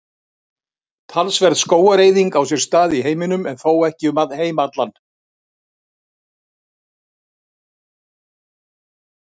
Talsverð skógareyðing á sér stað í heiminum en þó ekki um heim allan.